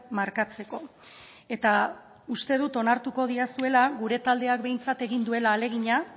markatzeko eta uste dut onartuko didazuela gure taldeak behintzat egin duela ahalegina